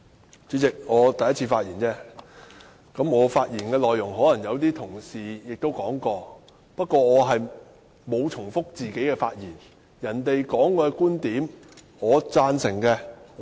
代理主席，這是我首次發言，而我的發言內容可能已有同事提及，但我沒有重複自己的觀點。